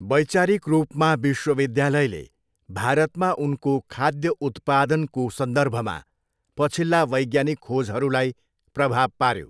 वैचारिक रूपमा विश्वविद्यालयले भारतमा उनको खाद्य उत्पादनको सन्दर्भमा पछिल्ला वैज्ञानिक खोजहरूलाई प्रभाव पाऱ्यो।